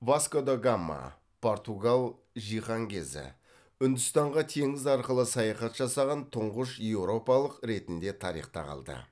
васко да гама португал жиһанкезі үндістанға теңіз арқылы саяхат жасаған тұңғыш еуропалық ретінде тарихта қалды